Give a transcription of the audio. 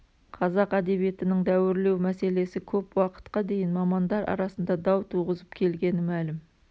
қазақ әдебиетінің дәуірлеу мәселесі көп уақытқа дейін мамандар арасында дау туғызып келгені мәлім